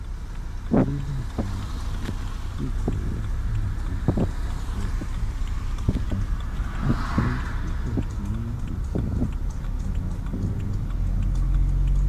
Orílẹ̀-èdè Egypt ṣètò ètò fíìsà tuntun láti gbé ìgbésẹ̀ sí ètò ìrìn-àjò arìnrìn-àjò